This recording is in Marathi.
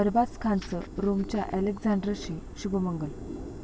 अरबाज खानचं रोमच्या अलेक्झांड्राशी शुभमंगल